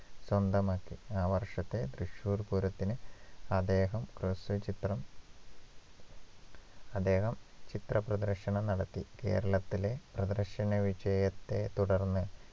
സ്വന്തമാക്കി ആ വർഷത്തെ തൃശൂർ പൂരത്തിന് അദ്ദേഹം ഹ്രസ്വചിത്രം അദ്ദേഹം ചിത്ര പ്രദർശനം നടത്തി കേരളത്തിലെ പ്രദർശന വിജയത്തെ തുടർന്ന്